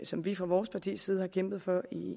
som vi fra vores partis side har kæmpet for